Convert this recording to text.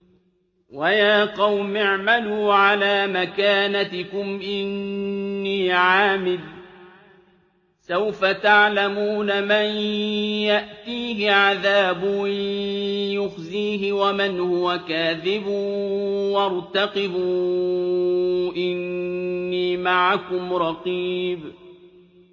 وَيَا قَوْمِ اعْمَلُوا عَلَىٰ مَكَانَتِكُمْ إِنِّي عَامِلٌ ۖ سَوْفَ تَعْلَمُونَ مَن يَأْتِيهِ عَذَابٌ يُخْزِيهِ وَمَنْ هُوَ كَاذِبٌ ۖ وَارْتَقِبُوا إِنِّي مَعَكُمْ رَقِيبٌ